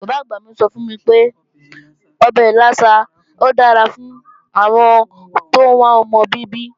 Bàbá-àgbà mi sọ fún mi pé ọbẹ̀ ìlàsà dára fún àwọn tóún wá ọmọ bíbí